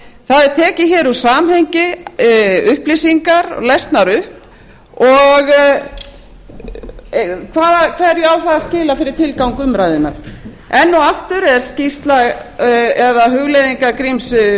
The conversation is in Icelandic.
það eru teknar hér úr samhengi upplýsingar og lesnar upp hverju á það að skila fyrir tilgang umræðunnar enn og aftur er skýrsla eða hugleiðingar gríms